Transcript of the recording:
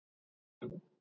Hvað viltu að ég segi?